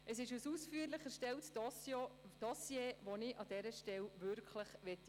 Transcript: Es handelt sich um ein ausführlich erstelltes Dossier, das ich an dieser Stelle würdigen möchte.